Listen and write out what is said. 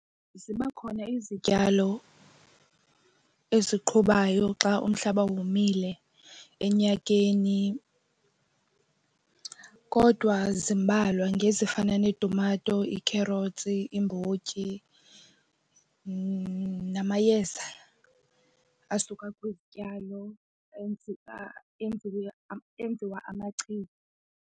Ziba khona izityalo eziqhubayo xa umhlaba womile enyakeni kodwa zimbalwa ngezifana neetumato iikherothsi iimbotyi namayeza asuka kwizityalo enziwa amachiza.